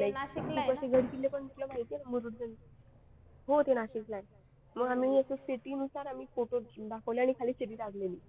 like तिकडचे गडकिल्ले पण कुठले माहिती आहे का मुरुड जंजिरा होते नाशिकला आहे मग आम्ही असं city नुसार photo दाखवले आणि खाली City टाकलेली.